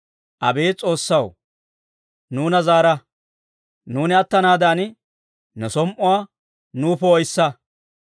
Abeet S'oossaw, nuuna zaara; nuuni attanaadan, ne som"uwaa nuw poo'issa.